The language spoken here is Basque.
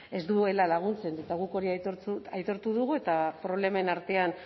ez duela laguntzen eta guk hori aitortu dugu eta problemen artean